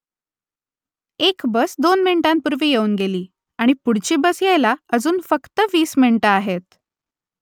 एक बस दोन मिनिटांपूर्वी येऊन गेली आणि पुढची बस यायला अजून फक्त वीस मिनिटं आहेत